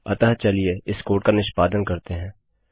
अतः चलिए इस कोड का निष्पादन करते हैं